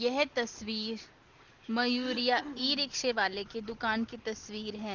यह तस्वीर मयूरिया ई-रिक्शे वाले की दुकान की तस्वीर है।